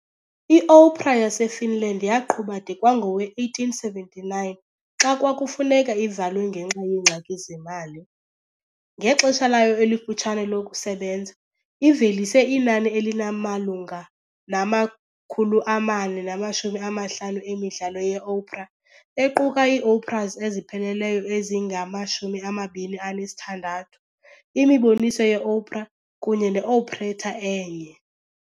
Iopera yaseFinland yaqhuba de kwangowe-1879, xa kwafuneka ivalwe ngenxa yeengxaki zemali. Ngexesha layo elifutshane lokusebenza, ivelise inani elimalunga nama-450 emidlalo yeopera, equka iioperas ezipheleleyo ezingama-26, imiboniso yeopera kunye ne-operetta enye.